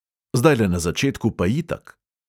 Zdajle na začetku pa itak.